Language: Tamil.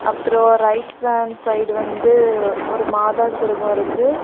அப்புறம் ரைட் ஹாண்ட் சைடு வந்து ஒரு மாதா சொருவம் இருக்கு.